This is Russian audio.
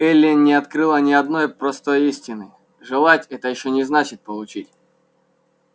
эллин не открыла ни одной простой истины желать это ещё не значит получить